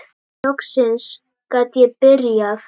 Loksins gat ég byrjað!